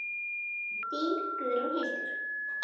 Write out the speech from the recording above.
Þín Guðrún Hildur.